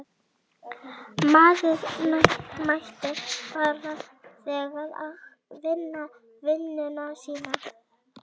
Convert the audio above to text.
Maður mætir bara þangað og vinnur vinnuna sína.